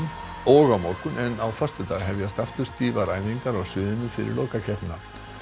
og á morgun en á föstudag hefjast aftur stífar æfingar á sviðinu fyrir lokakeppnina